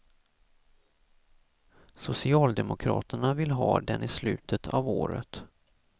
Socialdemokraterna vill ha den i slutet av året.